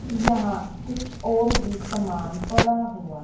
यहां कुछ और भी सामान पड़ा हुआ--